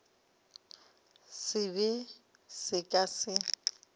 se be se ka se